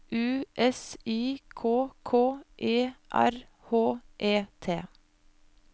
U S I K K E R H E T